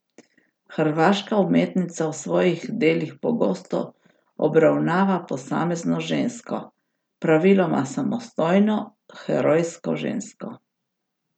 Hrvaška umetnica v svojih delih pogosto obravnava posamezno žensko, praviloma samostojno, herojsko žensko.